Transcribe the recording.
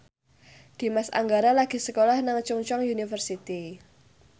Dimas Anggara lagi sekolah nang Chungceong University